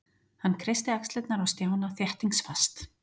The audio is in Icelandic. Hann kreisti axlirnar á Stjána þéttingsfast.